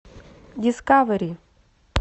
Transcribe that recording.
дискавери